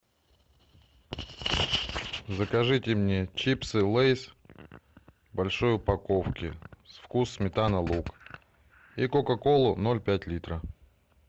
закажите мне чипсы лейс в большой упаковке вкус сметана лук и кока колу ноль пять литра